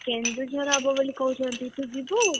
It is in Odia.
କେନ୍ଦୁଝର ହବ ବୋଲି କହୁଛନ୍ତି ତୁ ଯିବୁ?